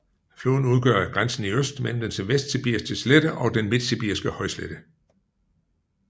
Floden udgør grænsen i øst mellem den vestsibiriske slette og den midtsibiriske højslette